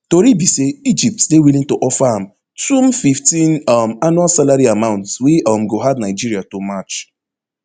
tori be say egypt dey willing to offer am twom fifteenm um annual salary amount wey um go hard nigeria to match